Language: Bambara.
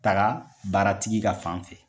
taga baara tigi ka fan fɛ.